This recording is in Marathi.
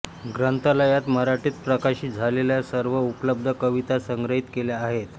ग्रंथालयात मराठीत प्रकाशित झालेल्या सर्व उपलब्ध कविता संग्रहित केल्या आहेत